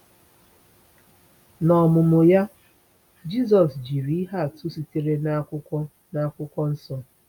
N’ọmụmụ ya, Jisọs jiri ihe atụ sitere n’Akwụkwọ n’Akwụkwọ Nsọ.